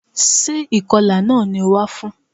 Sé ìkọlà náà ni o wá fún?